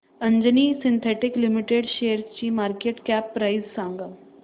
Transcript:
Anjani synthetics limited शेअरची market cap price सांगा